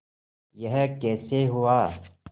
यह कैसे हुआ